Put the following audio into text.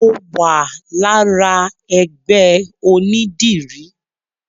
Mo wà lára ẹgbẹ́ onídìrí.